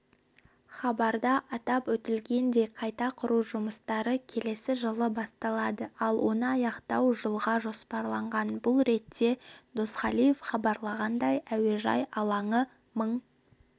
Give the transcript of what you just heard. хабарда атап өтілгендей қайта құру жұмыстары келесі жылы басталады ал оны аяқтау жылға жоспарланған бұл ретте досқалиев хабарлағандай әуежай алаңы мың